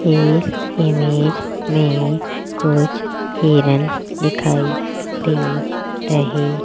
इस इमेज में कुछ हिरण दिखाई दे रहे --